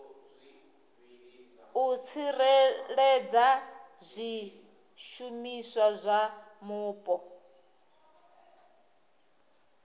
u tsireledza zwishumiswa zwa mupo